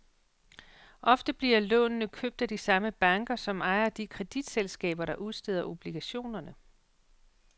Ofte bliver lånene købt af de samme banker, som ejer de kreditselskaber, der udsteder obligationerne.